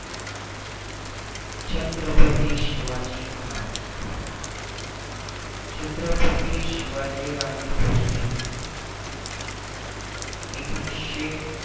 छत्रपती शिवाजी महाराज छत्रपती शिवाजी राजे भोसले एकोणिसशे